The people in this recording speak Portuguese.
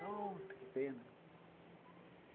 Pronto, que pena.